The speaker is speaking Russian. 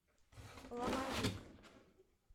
ломовик